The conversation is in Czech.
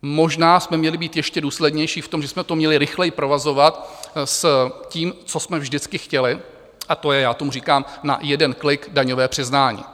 Možná jsme měli být ještě důslednější v tom, že jsme to měli rychleji provazovat s tím, co jsme vždycky chtěli, a to je - já tomu říkám na jeden klik daňové přiznání.